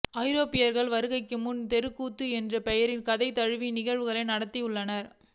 ஐரோப்பியர்களின் வருகைக்கு முன்பு தெருக்கூத்து என்ற பெயரில் கதை தழுவிய நிகழ்வுகள் நடந்துள்ளன